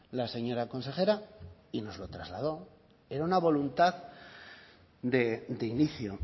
la señora consejera y nos lo trasladó era una voluntad de inicio